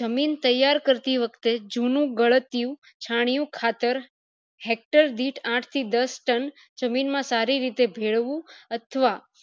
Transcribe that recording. જમીન તૈયર કરતી વખતે જુનું ગળત્યું જુનું ખાતેર hector આઠ થી દસ tonne જમીન માં સારી રીતે ભેળવવું અથવા